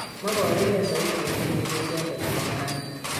Moboru gee saiti en kenyisiek choton chebo neranik